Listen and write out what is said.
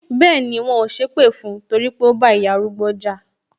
Bẹẹni, wọn ò sépè fún torí pé ó bá ìyá arúgbó jà